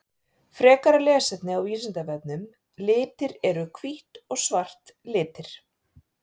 Frekara lesefni á Vísindavefnum Litir Eru hvítt og svart litir?